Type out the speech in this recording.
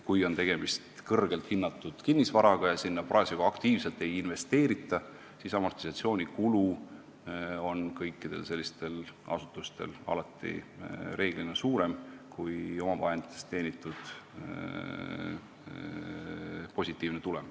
Kui on tegemist kõrgelt hinnatud kinnisvaraga ja sinna parasjagu aktiivselt ei investeerita, siis amortisatsioonikulu on kõikidel sellistel asutustel reeglina alati suurem kui omavahenditest teenitud positiivne tulem.